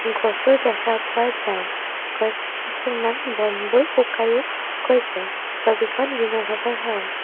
গছো দেখা পোৱা যায় গছ কিছুমান বনবোৰ শুকাইও গৈছে ছবিখন দিনৰ ভাগৰ হয়।